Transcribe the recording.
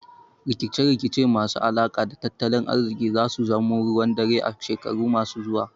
Rikice rikice masu alaka da tattalin ariziki zasu zamo ruwan dare a shekaru masu zuwa